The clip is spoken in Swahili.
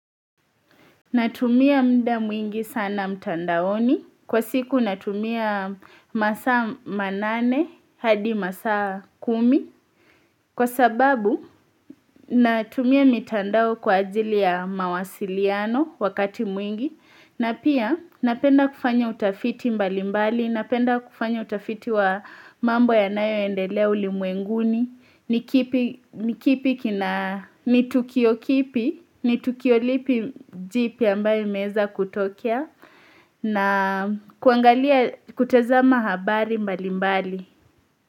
Natumia muda mwingi sana mtandaoni. Kwa siku natumia masaa manane hadi masaa kumi. Kwa sababu natumia mitandao kwa ajili ya mawasiliano wakati mwingi. Na pia napenda kufanya utafiti mbali mbali, napenda kufanya utafiti wa mambo yanayoendelea ulimwenguni, ni tukio kipi, ni tukio lipi jipya ambayo imeweza kutokea na kuangalia kutazama habari mbali mbali.